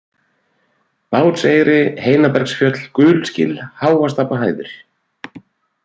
Bátseyri, Heinabergsfjöll, Gulsgil, Háastapahæðir